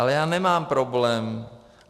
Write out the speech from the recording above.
Ale já nemám problém.